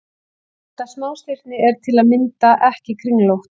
Þetta smástirni er til að mynda ekki kringlótt.